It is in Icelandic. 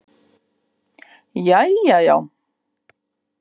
Jæja, já.